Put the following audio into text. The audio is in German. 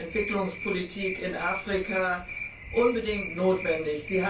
B. der Entwicklungspolitik in Afrika, unbedingt notwendig.